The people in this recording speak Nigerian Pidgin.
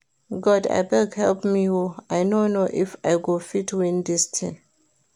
God abeg help me oo, I no know if I go fit win dis thing